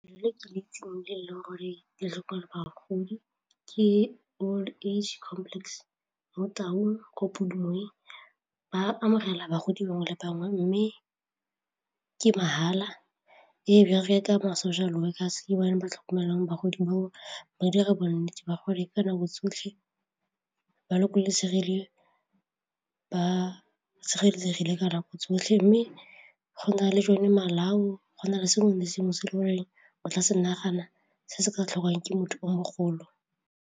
Le ke le itseng le e leng gore le tlhokomela bagodi ke old age complex mo Taung ba amogela bagodi bangwe le bangwe mme ke mahala, e bereka mo social workers ke ba tlhokomelang bagodi bao ba dira bonnete ba gore ka nako tsotlhe bolokosegile, ba sireletsegile ka nako tsotlhe mme go na le jone malao, go na le sengwe le sengwe se e le goreng o tla se nagana se se ka tlhokwang ke motho o mogolo.